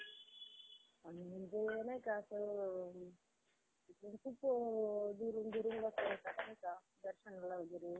अं रक्कम जास्त भेटते आणि अडीच ते तीन लाख रुपये आपले असे पण bank मध्ये अं home घराच्या loan मध्ये माफ होतात. तुम्हाला काय वाटतं?